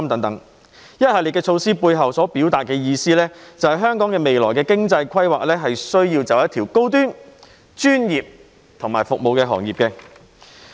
這一系列措施背後所表達的意思，就是香港未來的經濟規劃需要走一條高端、專業服務的道路。